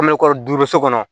An bɛ kɔri duuru so kɔnɔ